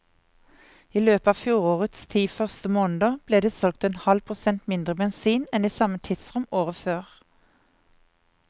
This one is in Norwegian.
I løpet av fjorårets ti første måneder ble det solgt en halv prosent mindre bensin enn i samme tidsrom året før.